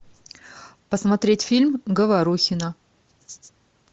посмотреть фильм говорухина